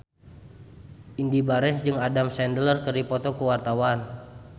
Indy Barens jeung Adam Sandler keur dipoto ku wartawan